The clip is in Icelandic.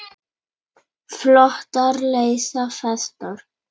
Flotar leysa festar.